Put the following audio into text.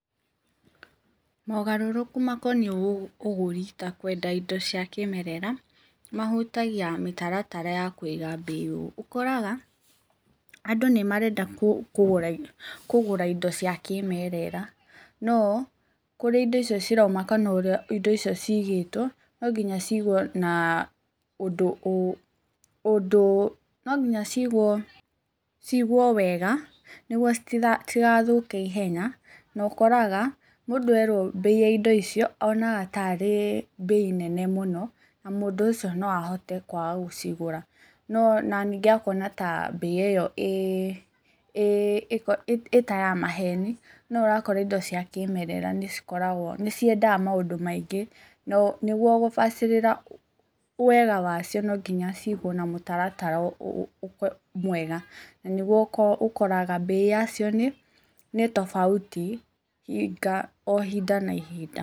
Mogarũrũku makoniĩ ũgũri ta kwenda indo cia kĩĩmerera mahutagia mĩtaratara ya kũiga mbei ũũ; ũkoraga andũ nĩ marenda kũgũra indo cia kĩmerera no kũrĩa indo ciroima kana ũrĩa indo icio cigĩtwo no nginya cigwo na ũndũ, ũndũ, no nginya cigwo, cigwo wega nĩguo citigathuke ihenya. Na ũkoraga mũndũ erwo mbei ya indo icio onaga tarĩ mbei nene mũno na mũndũ ũcio no ahote kwaga gũcigũra na ningĩ akona mbei ita ya maheni. No ũrakora indo cia kĩmerera nĩciendaga maũndũ maingĩ. Nĩguo gũbacĩrĩra wega wacio no nginya cigwo na mũtaratara mwega. Na nĩguo ũkoraga mbei yacio nĩ tofauti o ihinda na ihinda.